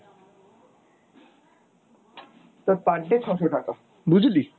তোর per day ছ'শো টাকা, বুঝলি ?